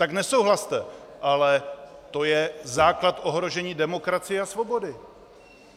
Tak nesouhlaste, ale to je základ ohrožení demokracie a svobody.